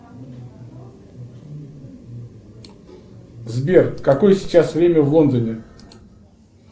сбер какое сейчас время в лондоне